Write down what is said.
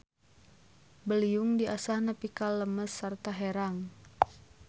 Beliung diasah nepi ka lemes sarta herang.